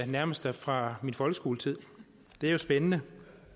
nærmest er fra min folkeskoletid det er jo spændende